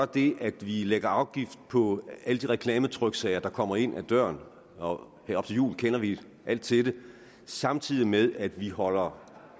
det at vi lægger afgift på alle de reklametryksager der kommer ind ad døren og her op til jul kender vi alt til det samtidig med at vi holder